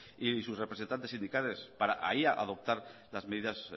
y sus representantes sindicales para ahí adoptar las medidas